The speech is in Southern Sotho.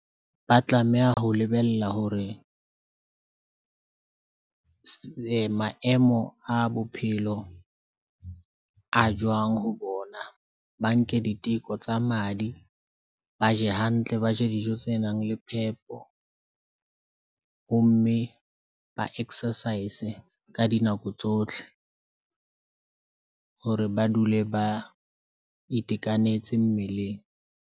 Ba tlameha ho lebella hore maemo a bophelo a jwang ho bona. Ba nke diteko tsa madi, ba je hantle, ba je dijo tse nang le phepo ho mme ba exercise ka dinako tsohle hore ba dule ba itekanetse mmeleng.